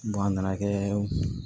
a nana kɛ